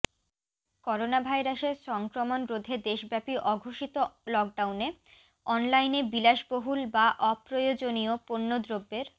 করোনাভাইরাসের সংক্রমণ রোধে দেশব্যাপী অঘোষিত লকডাউনে অনলাইনে বিলাসবহুল বা অপ্রয়োজনীয় পণ্যদ্রব্যের